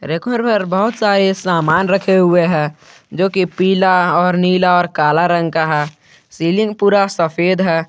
बहुत सारा सामान रखे हुए है जो कि पीला और नीला और काला रंग का है सीलिंग पूरा सफेद है।